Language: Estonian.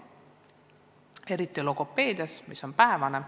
Näiteks logopeediks saab õppida vaid päevaõppes.